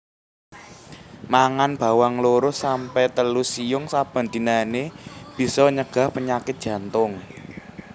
Mangan bawang loro sampe telu siung saben dinané bisa nyegah panyakit jantung